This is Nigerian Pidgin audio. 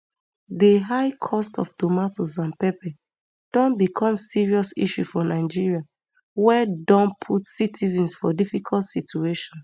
di high cost of tomatoes and pepper don become serious issue for nigeria wey don put citizens for difficult situation